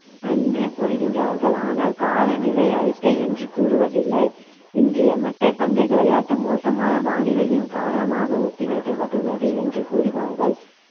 என்று கூறுகின்றார்கள் ஆனால் கால நிலை அறிக்கை என்று கூறுவதில்லை இன்றைய மட்டைப்பந்து விளையாட்டு மோசமான வானிலையின் காரணமாக ஒத்தி வைக்கப்பட்டுள்ளது என்று கூறுவார்கள்